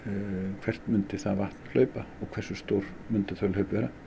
hvert myndi það vatn hlaupa og hversu stór myndu þau hlaup vera